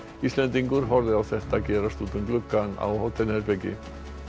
Íslendingur horfði á þetta gerast út um gluggann á hótelherberginu